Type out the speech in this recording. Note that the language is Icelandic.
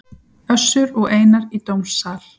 Össur og Einar í dómsal